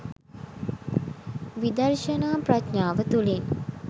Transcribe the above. විදර්ශනා ප්‍රඥාව තුළින්